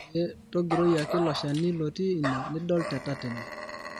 eeh tongiroi ake Ilo shani lotii ine nidol te tatene